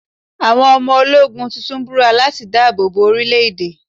Àwọn ọmọ ológun tuntun búra láti dáàbò bo orílẹ̀ èdè.